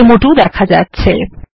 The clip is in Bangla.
ডেমো2 দেখা যাচ্ছে